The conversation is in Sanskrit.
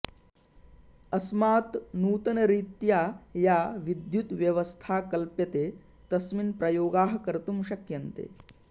अस्मात् नूतनरीत्या या विद्युद्व्यवस्था कल्प्यते तस्मिन् प्रयोगाः कर्तुं शक्यन्ते